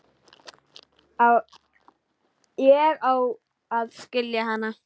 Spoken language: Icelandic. Ég á að skilja hana.